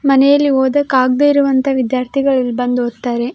ಮನೆಯಲ್ಲಿ ಓದೋಕಾಗದೆ ಇರುವಂಥ ವಿದ್ಯಾರ್ಥಿಗಳು ಇಲ್ಲಿ ಬಂದು ಓದ್ತಾರೆ.